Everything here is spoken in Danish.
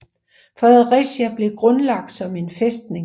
Fredericia blev grundlagt som en fæstning